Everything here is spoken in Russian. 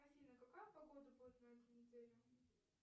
афина какая погода будет на этой неделе